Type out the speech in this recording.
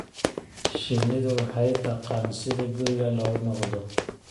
Shinnidu waxay taqaan sida guriga loogu noqdo.